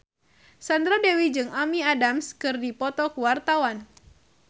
Sandra Dewi jeung Amy Adams keur dipoto ku wartawan